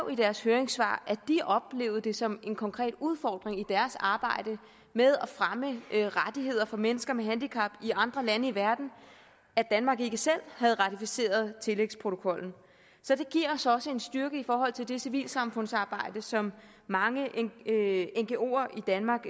i deres høringssvar at de oplevede det som en konkret udfordring i deres arbejde med at fremme rettigheder for mennesker med handicap i andre lande i verden at danmark ikke selv havde ratificeret tillægsprotokollen så det giver os også en styrke i forhold til det civilsamfundsarbejde som mange ngoer i danmark